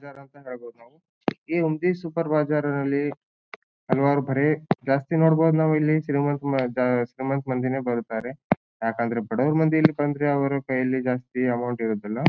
ಜೆರಾಕ್ ಹೇಳಬಹುದು ನಾವು ಈ ಒಂದು ಸೂಪರ್ ಬಾಜಾರ್ ನಲ್ಲಿ ಹಲವಾರು ಬರೇ ಜಾಸ್ತಿ ನೂಡಬಹುದ ನಾವ್ ಇಲ್ಲಿ ಸಿನಿಮಾ ಶ್ರೀಮಂತ ಮಂದಿನೇ ಬರುತ್ತಾರೆ ಯಾಕಂದ್ರೆ ಬಡವ್ರ್ ಮಂದಿ ಇಲ್ಲಿ ಬಂದ್ರೆ ಅವ್ರ ಕೈಯಲ್ಲಿ ಜಾಸ್ತಿ ಅಮೌಂಟ್ ಇರೋದಿಲ್ಲಾ.